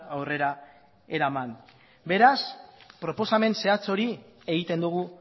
aurrera eraman beraz proposamen zehatz hori egiten dugu